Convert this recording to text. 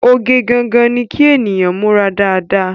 Oge gangan ni kí ènìyàn múra dáadáa